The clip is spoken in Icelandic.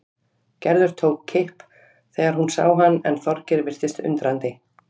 Gerður tók kipp þegar hún sá hann en Þorgeir virtist undrandi.